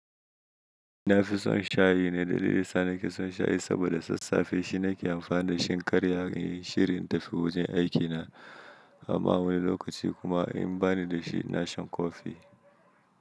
Ni nafi son shayi ne dalilin da yasa nake son shayi saboda sassafe shi nake amfani da shi in karya inyi shiri in tafi wajen aikina amma wani lokaci kuma in bani dashi ina sha coffee.